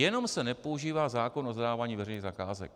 Jenom se nepoužívá zákon o zadávání veřejných zakázek.